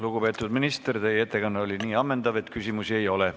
Lugupeetud minister, teie ettekanne oli nii ammendav, et küsimusi ei ole.